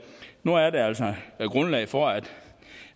nu er der altså grundlag for at